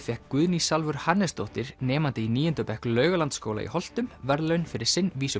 fékk Guðný Salvör Hannesdóttir nemandi í níunda bekk Laugalandsskóla í Holtum verðlaun fyrir sinn